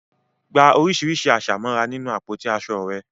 Gba oríṣiríṣi àṣà mọ́ra nínú àpótí aṣọ rẹ.